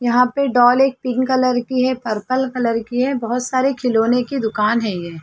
यहाँ पे डॉल एक पिंक कलर की है पर्पल कलर की है बहुत सारे खिलोने की दुकान है ये --